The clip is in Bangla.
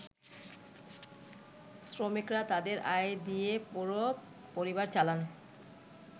“শ্রমিকরা তাদের আয় দিয়ে পুরো পরিবার চালান।